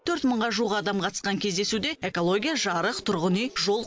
төрт мыңға жуық адам қатысқан кездесуде экология жарық тұрғын үй жол